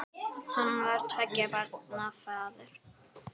Hann var tveggja barna faðir.